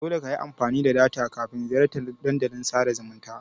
Dole kayi amfani da data kafin ziyartan Dandalin sada zumunta.